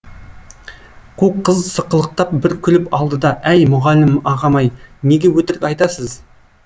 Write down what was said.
қу қыз сықылықтап бір күліп алды да әй мұғалім ағам ай неге өтірік айтасыз